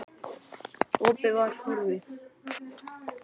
Opið var horfið.